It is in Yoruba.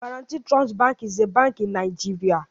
Guaranty Trust Bank is a bank in NIgeria